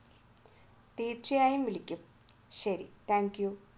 തീർച്ചയായും വിളിക്കും ശരി thank you